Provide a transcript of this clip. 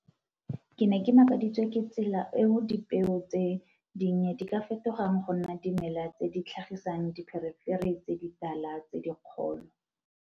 Ke ne ke makaditswe ke tsela eo dipeo tse dinnye di ka fetogang go nna dimela tse di tlhagisang dipherefere tse ditala tse dikgolo.